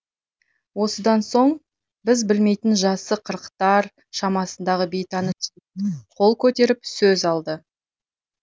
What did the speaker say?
осыдан соң біз білмейтін жасы қырықтар шамасындағы бейтаныс қол көтеріп сөз алды